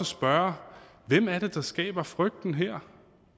spørge hvem er det der skaber frygten her